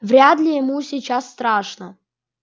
вряд ли ему сейчас страшно